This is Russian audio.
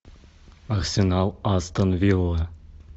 арсенал астон вилла